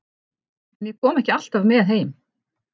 En ég kom ekki alltaf með heim.